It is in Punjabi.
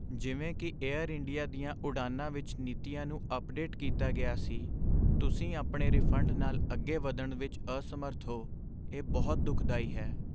ਜਿਵੇਂ ਕਿ ਏਅਰ ਇੰਡੀਆ ਦੀਆਂ ਉਡਾਣਾਂ ਵਿੱਚ ਨੀਤੀਆਂ ਨੂੰ ਅੱਪਡੇਟ ਕੀਤਾ ਗਿਆ ਸੀ, ਤੁਸੀਂ ਆਪਣੇ ਰਿਫੰਡ ਨਾਲ ਅੱਗੇ ਵਧਣ ਵਿੱਚ ਅਸਮਰੱਥ ਹੋ, ਇਹ ਬਹੁਤ ਦੁੱਖਦਾਈ ਹੈ।